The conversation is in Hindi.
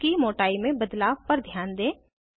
बॉन्ड्स की मोटाई में बदलाव पर ध्यान दें